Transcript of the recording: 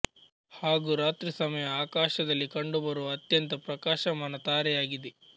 ಹಾಗು ರಾತ್ರಿ ಸಮಯ ಆಕಾಶದಲ್ಲಿ ಕಂಡುಬರುವ ಅತ್ಯಂತ ಪ್ರಕಾಶಮಾನ ತಾರೆಯಾಗಿದೆ